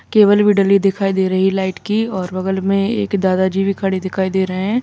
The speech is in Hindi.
केबल भी डल्ली दिखाई दे रही लाइट की और बगल में एक दादाजी भी खड़े दिखाई दे रहे हैं।